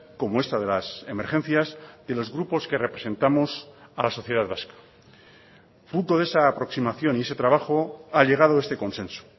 como esta de las emergencias de los grupos que representamos a la sociedad vasca fruto de esa aproximación y ese trabajo ha llegado este consenso